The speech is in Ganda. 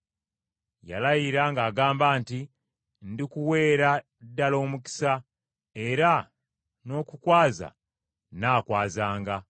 Yalayira ng’agamba nti, “Ndikuweera ddala omukisa, era n’okukwaza nnaakwazanga.”